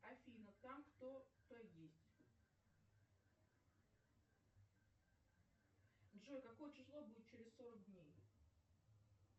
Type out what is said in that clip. афина там кто то есть джой какое число будет через сорок дней